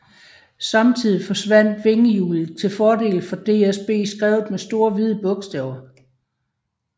Samtidig forsvandt vingehjulet til fordel for DSB skrevet med store hvide bogstaver